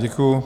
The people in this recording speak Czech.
Děkuji.